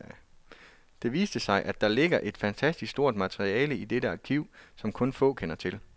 Det viste sig, at der ligger et fantastisk stort materiale i dette arkiv, som kun få kender til.